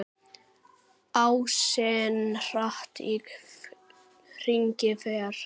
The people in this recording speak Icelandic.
Ásinn hratt í hringi fer.